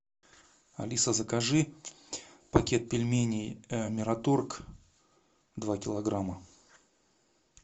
алиса закажи пакет пельменей мираторг два килограмма